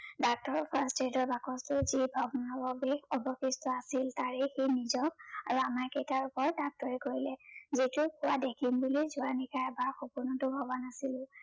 বাকচটোৰ ভগ্নাশেষ অৱশেষ্ট আছিল তাৰেই সি নিজক কৰিলে। দেখিম বুলি যোৱা নিশা সপোনটো ভৱা নাছিলো।